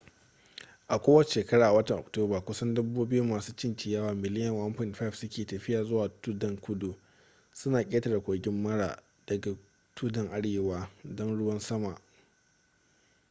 kowace shekara a watan oktoba kusan dabbobi masu cin ciyawa miliyan 1.5 suke tafiya zuwa tuddan kudu suna ƙetare kogin mara daga tuddan arewa don ruwan sama